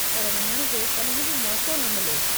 पर वञणु जो कॾहिं बि मौक़ो न मिलियो।